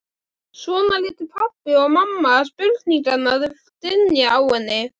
Svona létu pabbi og mamma spurningarnar dynja á henni.